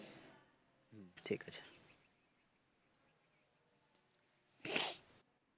ঠিক আছে।